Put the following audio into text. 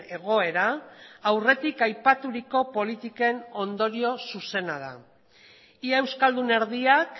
egoera aurretik aipaturiko politiken ondorio zuzena da ia euskaldun erdiak